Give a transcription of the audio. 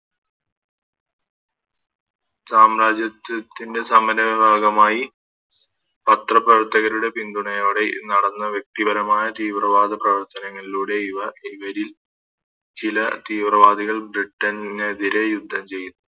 സാമ്രാജ്യത്തിൻറെ സമുന്നയ ഭാഗ്യമായി പത്ര പ്രവർത്തകരുടെ പിന്തുണയോടെ ഈ നടന്ന വ്യക്തി പരമായ തീവ്രവാദ പ്രവർത്തങ്ങളിലൂടെ ഇവ ഇവരിൽ ചില തീവ്രവാദികൾ Britain നെതിരെ യുദ്ധം ചെയ്യു